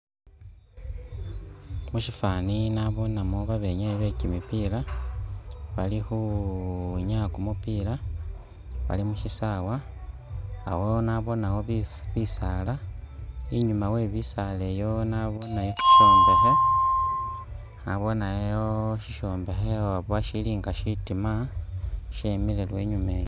Musifaani naboonemo babenyaayi bekimipiila, bali khukhwinyaaya kumupiila, baali. mushisaawa, awo naboonewo bisaala, inyuma we bisaala ibyo nabooneyo shishombekhe, nabooneyo shishombekhe oba shili nga shitiima, shemile lwe inyuma iyo.